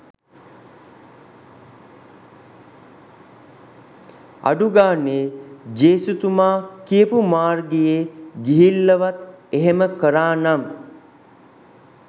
අඩුගානේ ජේසුතුමා කියපු මාර්ගයේ ගිහිල්ලවත් එහෙම කරානම්